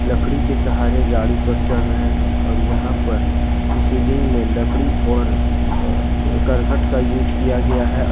लकड़ी के सहारे गाड़ी पर चल रहे हैं और यहां पर सीलिंग में लकड़ी और अ करकट का यूस किया गया है।